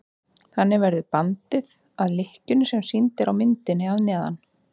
þannig verður bandið að lykkjunni sem sýnd er á myndinni að neðan